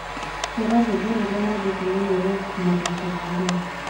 hũra rwĩmbo rũrĩa nyendete mũno rwa maroon commandos